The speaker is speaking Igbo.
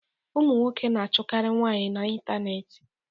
Ụmụ nwoke na achụkari nwaanyị na ịntanetị.